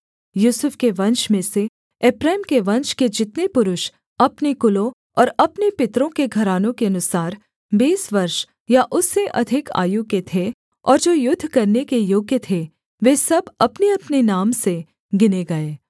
यूसुफ के वंश में से एप्रैम के वंश के जितने पुरुष अपने कुलों और अपने पितरों के घरानों के अनुसार बीस वर्ष या उससे अधिक आयु के थे और जो युद्ध करने के योग्य थे वे सब अपनेअपने नाम से गिने गए